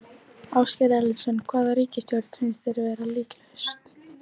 Ásgeir Erlendsson: Hvaða ríkisstjórn finnst þér vera líklegust?